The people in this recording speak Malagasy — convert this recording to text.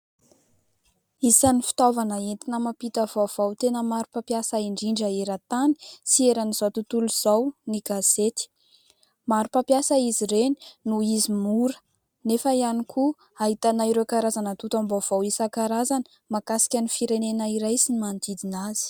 Isan'ny fitaovana entina mampita vaovao tena maro mpampiasa indrindra eran-tany sy eran'izao tontolo izao ny gazety. Maro mpampiasa izy ireny noho izy mora nefa ihany koa ahitana ireo karazana atontam-baovao isankarazany mahakasika ny firenena iray sy ny manodidina azy.